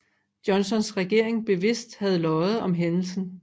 Johnsons regering bevidst havde løjet om hændelsen